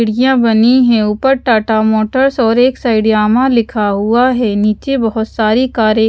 खिड़कियां बनी हैं ऊपर टाटा मोटर्स और एक साइड यामाहा लिखा हुआ है नीचे बहोत सारी कारे --